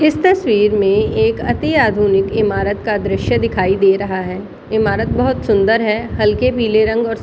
इस तस्वीर में एक अति आधुनिक इमारत का दृश्य दिखाई दे रहा है इमारत बहुत सुंदर है हल्के पीले रंग और स --